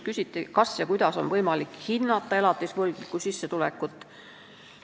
Küsiti, kas ja kuidas on võimalik hinnata elatisvõlgniku sissetulekut.